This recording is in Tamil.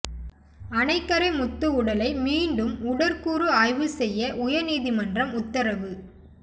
அணைக்கரை முத்து உடலை மீண்டும் உடற்கூறு ஆய்வு செய்ய உயர்நீதிமன்றம் உத்தரவு